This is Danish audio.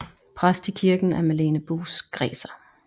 Præst i kirken er Malene Buus Graeser